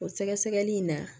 O sɛgɛsɛgɛli in na